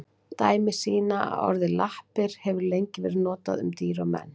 Dæmi sýna að orðið lappir hefur lengi verið notað um dýr og menn.